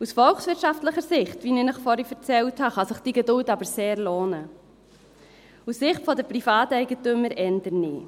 Aus volkswirtschaftlicher Sicht, wie ich Ihnen vorhin erzählt habe, kann sich diese Geduld aber sehr lohnen, aus Sicht von privaten Eigentümern aber eher nicht.